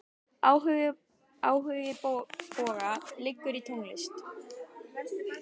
Áhugi Boga liggur í tónlist.